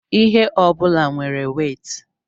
ihe ọ bụla nwere wéétị